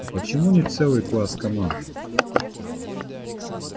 а почему не целый класс команд